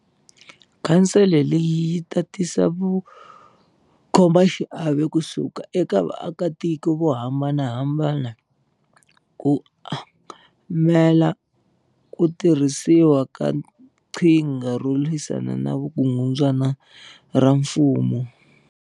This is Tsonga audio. Khansele leyi yi ta tisa vakhomaxiave kusuka eka vaakatiko vo hambanahambana ku angamela ku tirhisiwa ka qhinga ro lwi sana na vukungundzwana ra mfumo.